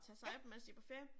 Ja